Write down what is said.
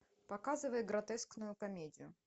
показывай гротескную комедию